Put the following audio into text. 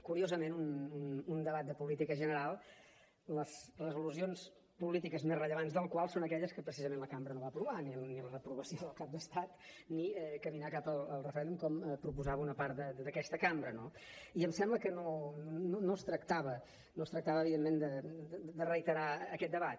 curiosament un debat de política general les resolucions polítiques més rellevants del qual són aquelles que precisament la cambra no va aprovar ni la reprovació del cap d’estat ni caminar cap al referèndum com proposava una part d’aquesta cambra no i em sembla que no es tractava evidentment de reiterar aquest debat